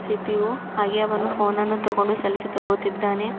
CPU ಹಾಗೆಯೇ ಅವನು phone ಅನ್ನು ತೋಗೊಂಡು ಸೆಲ್ಫಿ ತಗೊಳ್ತಿದ್ದಾನೆ.